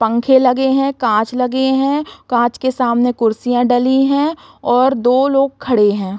पंखे लगे है कांच लगे है कांच के समाने कुर्सियाँ डली है और दो लोग खड़े हैं।